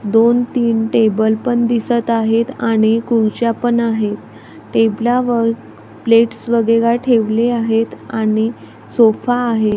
दोन तीन टेबल पण दिसतं आहेत आणि खुर्च्या पण आहे. टेबला वर प्लेट्स वगैरा ठेवले आहेत आणि सोफा आहे.